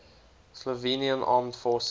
slovenian armed forces